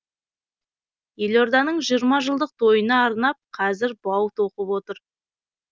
елорданың жиырма жылдық тойына арнап қазір бау тоқып жатыр